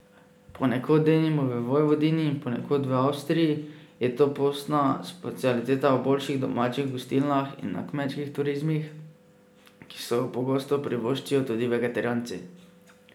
Ponekod, denimo v Vojvodini in ponekod v Avstriji, je to postna specialiteta v boljših domačih gostilnah in na kmečkih turizmih, ki si jo pogosto privoščijo tudi vegetarijanci.